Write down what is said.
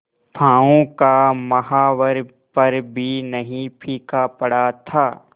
पांव का महावर पर भी नहीं फीका पड़ा था